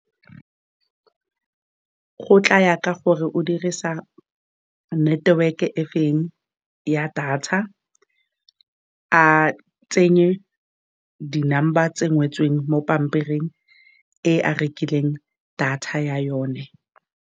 Go tlaya ka gore o dirisa network-e e feng ya data, a tsenye di-number tsedi ngotsoe mo pampiring e a rekileng data ya yone.